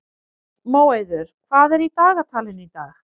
Móeiður, hvað er í dagatalinu í dag?